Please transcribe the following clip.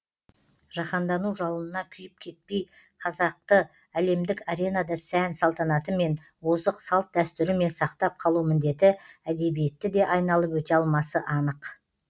жаһандану жалынына күйіп кетпей қазақты әлемдік аренада сән салтанатымен озық салт дәстүрімен сақтап қалу міндеті әдебиетті де айналып өте алмасы анық